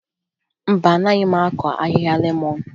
Mba, anaghị m akụ ahịhịa lemọn